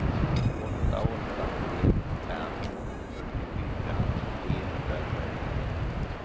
åtta åtta ett fem fyrtiofyra trehundratrettioett